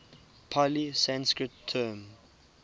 pali sanskrit term